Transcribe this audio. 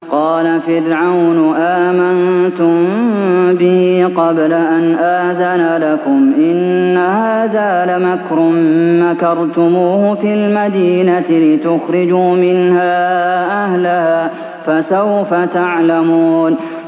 قَالَ فِرْعَوْنُ آمَنتُم بِهِ قَبْلَ أَنْ آذَنَ لَكُمْ ۖ إِنَّ هَٰذَا لَمَكْرٌ مَّكَرْتُمُوهُ فِي الْمَدِينَةِ لِتُخْرِجُوا مِنْهَا أَهْلَهَا ۖ فَسَوْفَ تَعْلَمُونَ